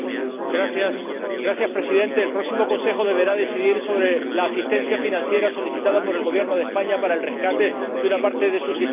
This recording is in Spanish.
Señor Presidente, el próximo Consejo deberá decidir sobre la asistencia financiera solicitada por el Gobierno de España para el rescate de una parte de su sistema financiero.